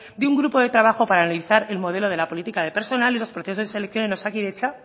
de un grupo de trabajo para analizar el modelo de la política de personal en los procesos de selección en osakidetza